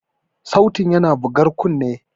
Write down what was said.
Sautin yana bugar kunne.